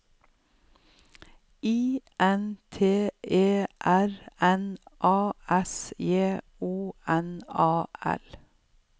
I N T E R N A S J O N A L